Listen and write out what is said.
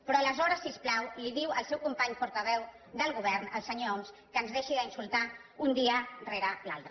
però aleshores si us plau li diu al seu company portaveu del govern al senyor homs que ens deixi d’insultar un dia rere l’altre